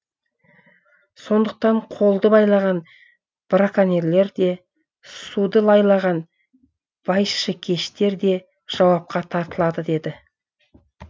сондықтан қолды байлаған браконьерлер де суды лайлаған байшыкештер де жауапқа тартылады деді